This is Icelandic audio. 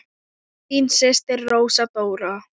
Þín systir Rósa Dóra.